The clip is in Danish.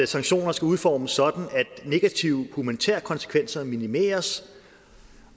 sanktioner skal udformes sådan at negative humanitære konsekvenser minimeres